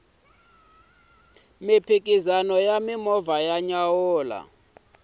mphikizano wa ti movha wa nyanyula